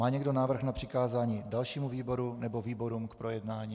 Má někdo návrh na přikázání dalšímu výboru nebo výborům k projednání?